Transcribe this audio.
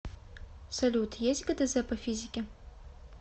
салют есть гдз по физике